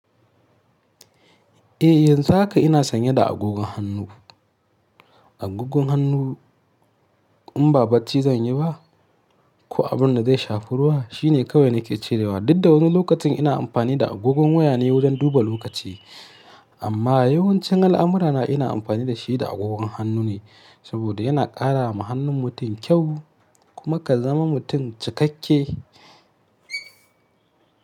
Eh, yanzu haka ina sanye da agogon hannu. Agogon hannu in ba barci zan yi ba, ko abin da zai shafi ruwa shine kawai nake cewa. Dub da wasu lokacin ina amfani da agogon waya ne wajen duba lokaci, amma yawancin al'amurana ina amfani da shi da agogon hannu ne saboda yana ƙara ma hannun mutum kyau kuma ka zama mutum cikakke.